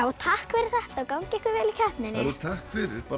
takk fyrir þetta gangi ykkur vel í keppninni takk fyrir